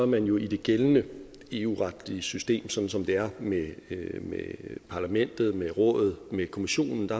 man jo i det gældende eu retlige system sådan som det er med parlamentet med rådet med kommissionen og